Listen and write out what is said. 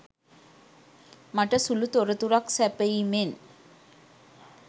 මට සුළු තොරතුරක් සැපයීමෙන්